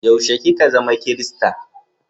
Yaushe ki ka zama kirista?